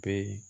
Be